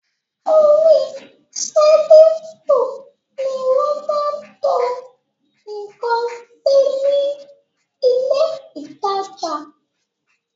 Orí sẹ́lìfù ni wọ́n máa ń to ǹkan sí ní ilé ìtajà